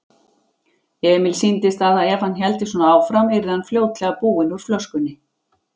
Emil sýndist að ef hann héldi svona áfram yrði hann fljótlega búinn úr flöskunni.